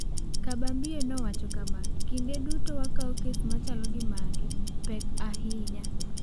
Kabambie nowacho kama: "Kinde duto wakawo kes machalo gi magi pek ahinya."